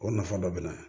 O nafa dɔ bɛ na